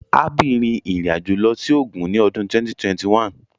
Abby rin irin ajo lọ si Ogun ni ọdun 2021